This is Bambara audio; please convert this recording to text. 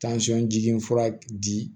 jiginin fura di